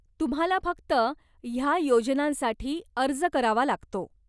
तुम्हाला फक्त ह्या योजनांसाठी अर्ज करावा लागतो.